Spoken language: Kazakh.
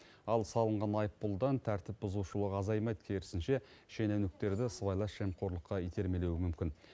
ал салынған айыппұлдан тәртіп бұзушылық азаймайды керісінше шенеуніктерді сыбайлас жемқорлыққа итермелеуі мүмкін